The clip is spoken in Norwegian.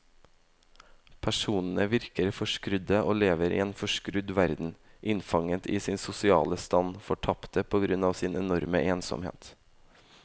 Personene virker forskrudde og lever i en forskrudd verden, innfanget i sin sosiale stand, fortapte på grunn av sin enorme ensomhet.